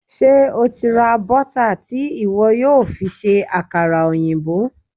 Ṣé o ti ra bọ́tà tí ìwọ yóò fi ṣe àkàrà òyìnbó?